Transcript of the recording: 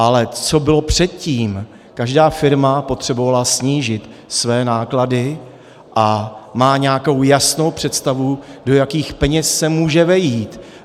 Ale co bylo předtím, každá firma potřebovala snížit své náklady a má nějakou jasnou představu, do jakých peněz se může vejít.